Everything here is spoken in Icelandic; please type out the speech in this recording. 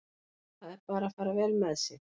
Það er að fara vel með sig.